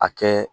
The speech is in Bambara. A kɛ